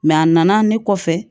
a nana ne kɔfɛ